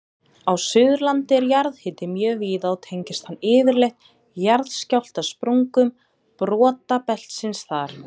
Á Suðurlandi er jarðhiti mjög víða og tengist hann yfirleitt jarðskjálftasprungum brotabeltisins þar.